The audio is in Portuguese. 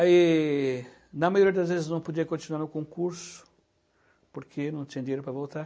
E na maioria das vezes, não podia continuar no concurso, porque não tinha dinheiro para voltar.